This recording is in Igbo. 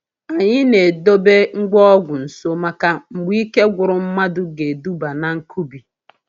Anyị na-edobe ngwa ọgwụ nso maka mgbe ike gwụrụ mmadụ ga-eduba na nkubi